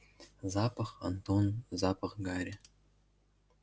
запах антон запах гари